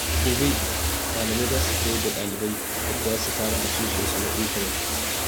Gobe, malamai za su koyar da ɗalibai yadda za su kare asusun su na intanet.